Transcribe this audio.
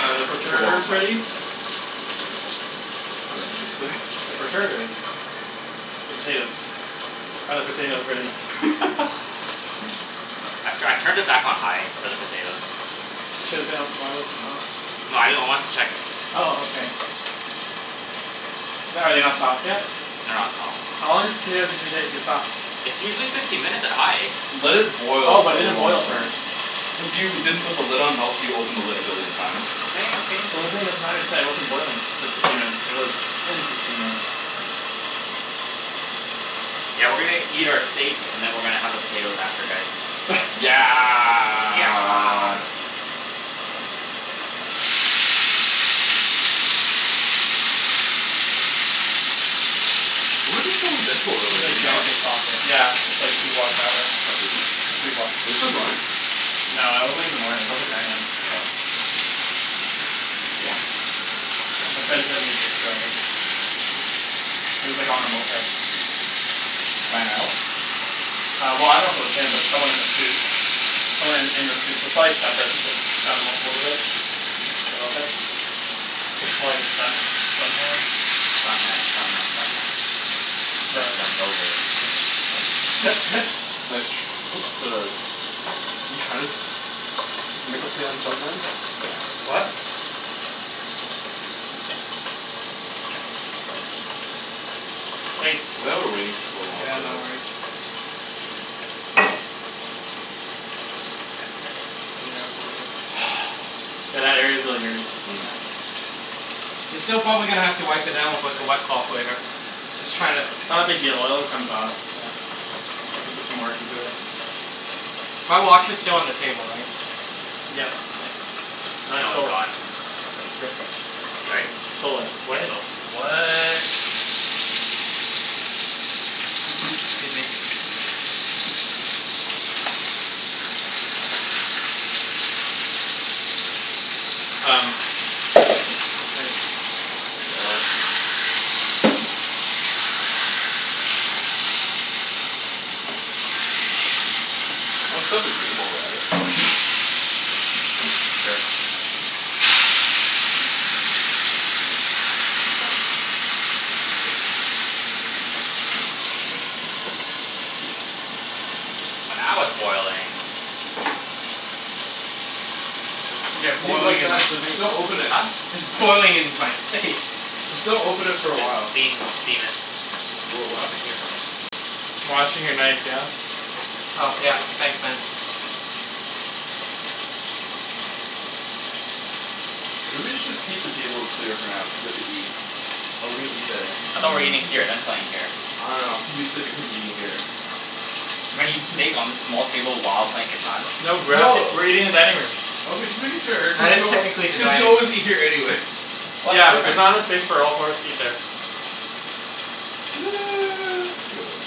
Are the It's a long perterters ready? time. What did you say? The perterters The potatoes. Are the potatoes ready? I'm tryin' I turned it back on high for the potatoes. It should've been on. Why wasn't it on? No I know I wanted to check. Oh okay. The- are they not soft yet? They're not soft. How long does a potato usually take to get soft? It's usually fifteen minutes at high. Let it Oh, boil for but it a didn't long boil time. first. Cuz you didn't put the lid on else you opened the lid a billion times. The lid thing doesn't matter it just wasn't boiling for fifteen minutes. It was in for fifteen minutes. Yeah, we're gonna eat our steak and then we're gonna have our potato after this. Yeah Yeah Where were they filming Deadpool earlier, do you know? Yeah, it's like two blocks that way, Oh seriously? or three blocks. Are they still going? No, that was like in the morning. That was like nine AM. Oh Damn. My Wanted friend sent me to a picture of it. He was like on a moped. Ryan Reynolds? Uh well I dunno if it was him but it was someone in a suit. Someone in in the suit, so it's probably stunt person since it's on on motorbike. Mhm. A moped. Probably a stunt stunt man. Stunt man stunt man stunt man. No Just it's jumped over it's Nice tr- what the? You tryin' to Make a play on jump man? Yeah. What? Thanks. Why are we waiting for so long Yeah, for no this? worries. Yeah, a little. Yeah that area's really dirty. Yeah. You're still gonna probably have to wipe it down with like a wet cloth later. Just tryin' to It's not a big deal, oil it comes off. Yeah. Just have to put some work into it. My watch is still on the table, right? Yes. K. No, it's gone. Yep. Right? I stole it He sto- what? 'scuse me. Um Um, it's Nice. Let's set up the game while we're at it. Sure. Oh now it's boiling. Yeah, Leave it boiling like in my that j- face. just don't open it. Huh? It's boiling in my face. Just don't open it for a The while. steam steam it Whoa, what happened here? Washing your knife, yeah? Oh yeah, thanks man. Uh maybe we should just keep the table clear for now cuz we have to eat. Oh we're gonna eat there. I thought we're eating here and then playing here. I dunno I'm too used to Ibrahim eating here. We're gonna eat steak on this small table while playing Catan? No, we're actually No we're eating in dining room. Okay just making sure, Well cuz it's you al- technically the cuz you dining room. always eat here anyways What's Yeah, but there's different? not enough space for all four of us to eat there. Okay whatever.